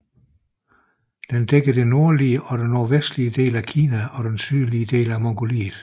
Den dækker de nordlige og nordvestlige dele af Kina og den sydlige del af Mongoliet